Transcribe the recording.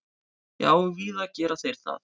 Já, víða gera þeir það.